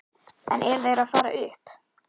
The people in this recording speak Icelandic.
En eru þeir að fara upp?